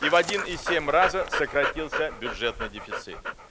и в один и семь раза сократился бюджетный дефицит